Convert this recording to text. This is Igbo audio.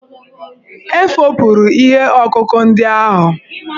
E fopụrụ ihe ọkụkụ ndị ahụ.